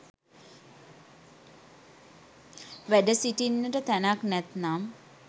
වැඩ සිටින්නට තැනක් නැත්නම්